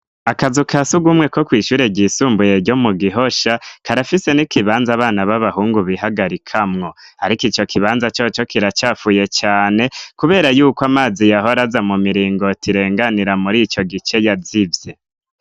Akazu ka sugumwe ko kw'ishure ry'isumbuye gyo mu gihosha karafise n'ikibanza abana b'abahungu bihagarika mwo ariko icyo kibanza cyo cyo kiracyafuye cyane kubera yuko amazi yahora aza mu miringo tirenganira muri icyo gice yazivye.